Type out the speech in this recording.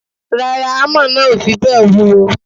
Rárá, hámà náà ò fi bẹ́ẹ̀ wúwo.